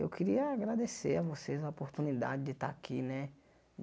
Eu queria agradecer a vocês a oportunidade de estar aqui, né?